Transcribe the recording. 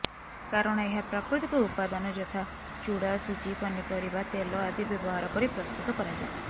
କାରଣ ଏହା ପ୍ରାକୃତିକ ଉପାଦାନ ଯଥା ଚୂଡ଼ା ସୁଜି ପନିପରିବା ତେଲ ଆଦି ବ୍ୟବହାର କରି ପ୍ରସ୍ତୁତ କରାଯାଏ